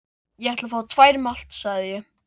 Ég ætla að fá tvær malt, sagði ég.